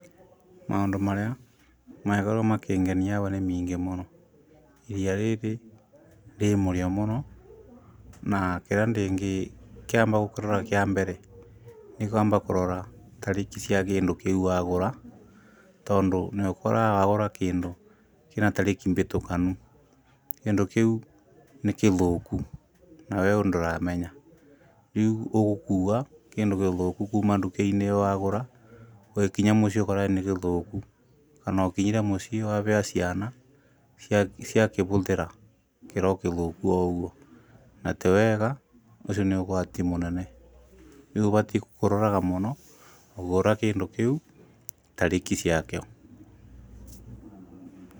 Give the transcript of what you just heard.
Mũndũ marĩa mangĩkorwo makĩngenia aba nĩ maingĩ mũno iria rĩrĩ rĩ mũrĩo mũno, na kĩrĩa kĩngĩkorwo gĩ kĩambere nĩ kwamba kũrora tarĩki cia kĩndũ kĩu wagũra. Tondũ nĩ ũkoraga wagũra kĩndũ kĩna tarĩki bĩtũkanu, kĩndũ kĩu nĩkĩthũku nawe ũ ndũramenya. Rĩu ũgũkua kĩndũ gĩthũku kuma nduka-inĩ ĩyo wagũra ũgĩkinya mũciĩ ũkore nĩ gĩthũku, kana ũkinyire mũciĩ na wabea ciana ciakĩbũthĩra kĩrĩ o kĩthũku o ũguo. Na ti wega ũcio nĩ ũgwati mũnene rĩu ũbatiĩ kũroraga mũno ũkĩgũra kĩndũ kĩu tarĩki cia kĩo.